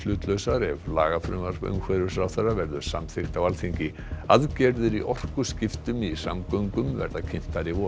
kolefnishlutlausar ef lagafrumvarp umhverfisráðherra verður samþykkt á Alþingi aðgerðir í orkuskiptum í samgöngum verða kynntar í vor